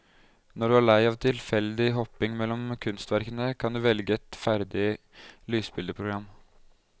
Når du er lei av tilfeldig hopping mellom kunstverkene, kan du velge et ferdig lysbildeprogram.